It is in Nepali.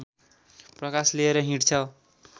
प्रकाश लिएर हिँड्छ